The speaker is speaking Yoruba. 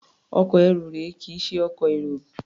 Ọkọ̀ ẹrù rèé, kì í ṣe ọkọ̀ èrò.